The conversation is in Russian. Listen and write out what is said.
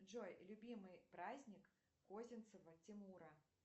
джой любимый праздник козинцева тимура